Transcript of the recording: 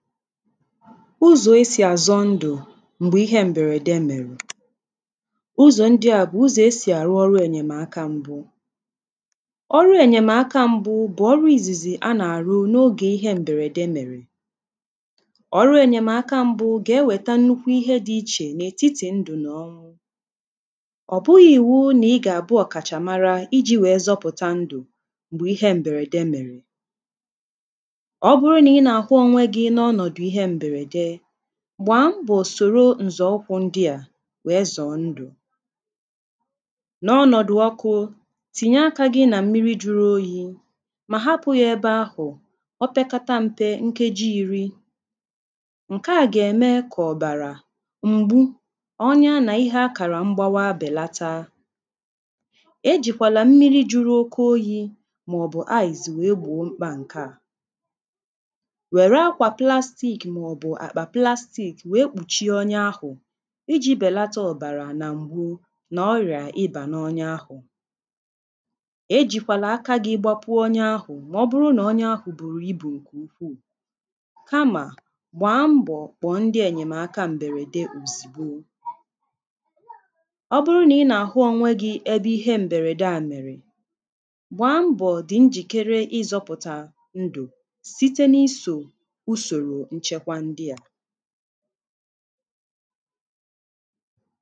ụzọ̀ esì azọ ndụ̀ m̀gbè ihe m̀bèrède mèrè ụzọ̀ ndị à bụ̀ ụzọ̀ esì àrụ ọrụ ènyèmaka m̀gbu ọrụ ènyèmaka m̀bu bụ̀ ọrụ ìzìzì a nà-àrụ n’ogè ihe m̀bèrède mèrè ọrụ ènyèmaka m̀bu gà-ewèta nnukwu ihe dị̇ ichè n’ètitì ndụ̀ nà ọ ọ bụghị̇ iwu nà ị gà-àbụ ọ̀kàchàmara iji̇ wèe zọpụ̀ta ndụ̀ m̀gbè ihe m̀bèrède mèrè gba mbọ soro nzọọkwụ ndị a wee ịzọ ndụ n’ọnọdụ ọkụ tinye aka gị na mmiri juru oyi ma hapụ ya ebe ahụ opekata mpe nkeji iri nke a ga-eme ka ọ bara mgbu ọnya na ihe akara mgbawa belata e jikwara mmiri juru oke oyi ma ọbụ aịz wee gboo mkpa nke a wee kpùchie onye ahụ̀ iji̇ bèlata ọ̀bàrà nà m̀gbu nà ọrịà ịbà n’onye ahụ̀ ejìkwàlà aka gị ịgbapụ onye ahụ̀ mà ọ bụrụ nà onye ahụ̀ bụ̀rụ̀ ibù ǹkè ukwuù kamà gbàa mbọ̀ kpọ̀ọ ndị ènyèmaka mbèrède ùzìgbo ọ bụrụ nà ị nà-àhụ onwe gị ebe ihe mbèrède à mèrè gbàa mbọ̀ dị njìkere ịzọ̇pụ̀tà ndù ǹdè a